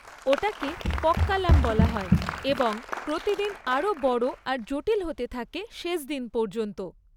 ওটাকে পক্কালাম বলা হয় এবং প্রতিদিন আরও বড় আর জটিল হতে থাকে শেষ দিন পর্যন্ত।